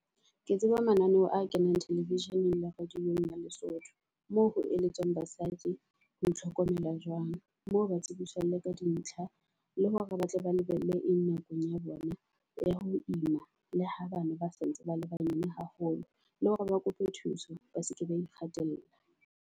Ke tseba mananeo a kenang television-eng le radio-ng ya Lesotho. Moo ho eletswang basadi ho itlhokomela jwang Moo ba tsebiswang le ka di ntlha le hore ba tle ba lebelle eng nakong ya bona ya ho ima. Le ha bana ba sa ntse ba le banyane haholo, le hore ba kope thuso, ba seke ba ikgatella.